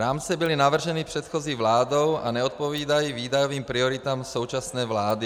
Rámce byly navrženy předchozí vládou a neodpovídají výdajovým prioritám současné vlády.